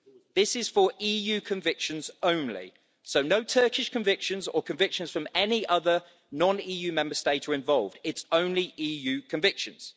This is for EU convictions only, so no Turkish convictions or convictions from any other non EU Member State are involved it's only EU convictions.